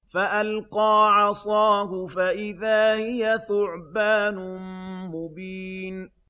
فَأَلْقَىٰ عَصَاهُ فَإِذَا هِيَ ثُعْبَانٌ مُّبِينٌ